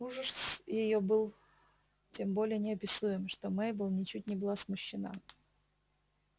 ужас её был тем более неописуем что мейбелл ничуть не была смущена